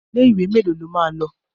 Ilé ìwé mélòó o máa lọ?